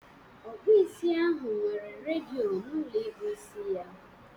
Ọkpụisi ahụ nwere redịo na ụlọ ịkpụ isi ya.